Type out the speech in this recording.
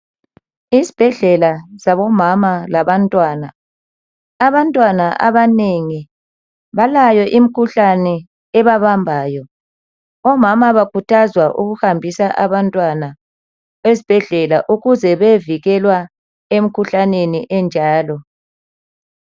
Esbhedlela sabomama labantwana. Abantwana abanengi balayo imkhuhlani ebabambayo. Omama bakhuthazwa ukuhambisa abantwana ezbhedlela ukuze beyevikelwa emkhuhlaneni enjalo.